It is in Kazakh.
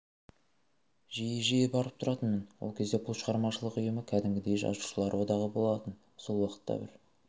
жиі-жиі барып тұратынмын ол кезде бұл шығармашылық ұйым кәдімгідей жазушылар одағы болатын сол уақытта бір